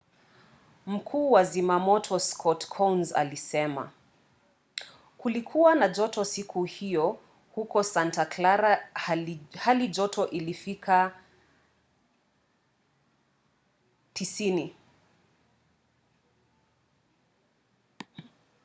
mkuu wa zimamoto scott kouns alisema kulikuwa na joto siku hiyo huko santa clara halijoto ikifikia 90